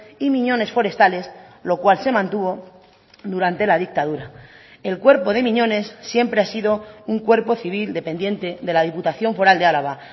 y miñones forestales lo cual se mantuvo durante la dictadura el cuerpo de miñones siempre ha sido un cuerpo civil dependiente de la diputación foral de álava